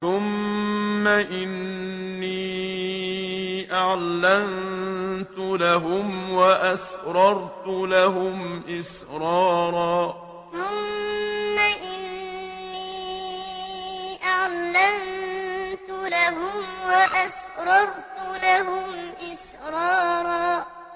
ثُمَّ إِنِّي أَعْلَنتُ لَهُمْ وَأَسْرَرْتُ لَهُمْ إِسْرَارًا ثُمَّ إِنِّي أَعْلَنتُ لَهُمْ وَأَسْرَرْتُ لَهُمْ إِسْرَارًا